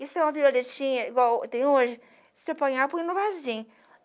E se uma violetinha, igual tem hoje, se você apanhar, põe no vasinho.